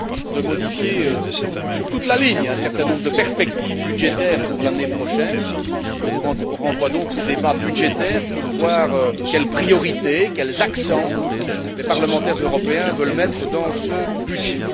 de modifier sur toute la ligne un certain nombre de perspectives budgétaires pour l'année prochaine. Je vous renvoie donc au débat budgétaire pour voir quelles priorités, quels accents les parlementaires européens veulent mettre dans ce budget.